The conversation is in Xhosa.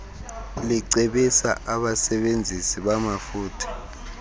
licebisa abasebenzisi bamafutha